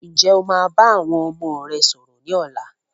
Ǹjẹ́ o máa bá àwọn ọmọ rẹ sọ̀rọ̀ ni ọ̀la?